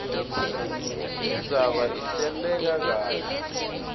indzaba ihleleke kahle